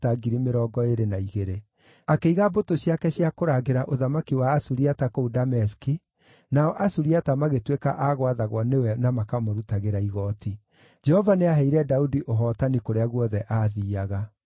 Akĩiga mbũtũ ciake cia kũrangĩra ũthamaki wa Asuriata kũu Dameski, nao Asuriata magĩtuĩka a gwathagwo nĩwe na makamũrutagĩra igooti. Jehova nĩaheire Daudi ũhootani kũrĩa guothe aathiiaga.